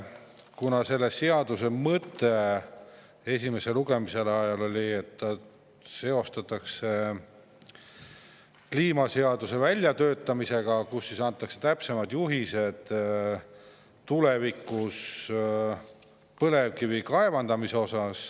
Algul oli seaduse mõte see, et see seostatakse kliimaseaduse väljatöötamisega, nii et antakse täpsemad juhised selle kohta, kuidas tulevikus põlevkivi kaevandada.